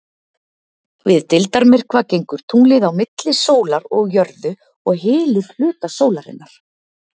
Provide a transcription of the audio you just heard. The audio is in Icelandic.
við deildarmyrkva gengur tunglið á milli sólar og jörðu og hylur hluta sólarinnar